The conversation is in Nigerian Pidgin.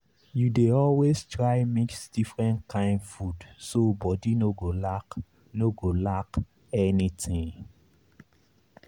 you dey always try mix different kain food so body no go lack no go lack anything.